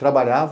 Trabalhava.